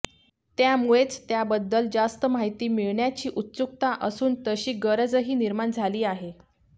त्यामुळेच त्याबद्दल जास्त माहिती मिळवण्याची उत्सुकता असून तशी गरजही निर्माण झाली आहे